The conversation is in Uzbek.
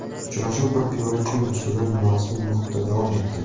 Uchrashuv bir piyola choy ustida norasmiy muhitda davom etdi.